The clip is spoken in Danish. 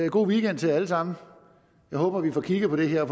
og god weekend til jer alle sammen jeg håber vi får kigget på det her og